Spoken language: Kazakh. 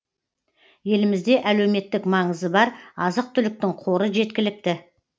елімізде әлеуемттік маңызы бар азық түліктің қоры жеткілікті